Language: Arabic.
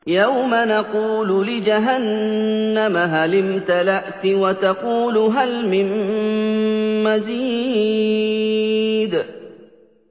يَوْمَ نَقُولُ لِجَهَنَّمَ هَلِ امْتَلَأْتِ وَتَقُولُ هَلْ مِن مَّزِيدٍ